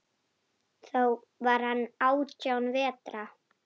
Þá var hann átján vetra.